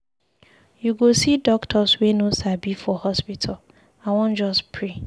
You go see doctors wey no sabi for hospital. I wan just pray.